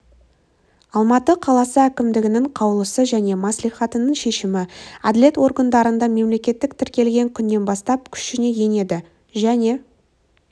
алматы қаласы әкімдігінің қаулысы және мәслихатының шешімі әділет органдарында мемлекеттік тіркелген күннен бастап күшіне енеді және